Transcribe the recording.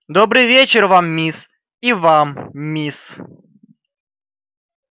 добрый вечер вам мисс и вам мисс